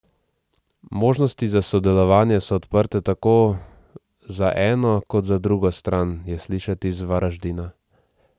Možnosti za sodelovanje so odprte tako za eno kot za drugo stran, je slišati iz Varaždina.